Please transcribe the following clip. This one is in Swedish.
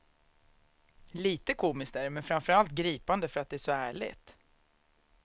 Lite komiskt är det, men framförallt gripande för att det är så ärligt.